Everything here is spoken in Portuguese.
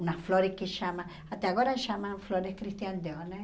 Umas flores que chamam... Até agora chamam flores Christian Dior, né?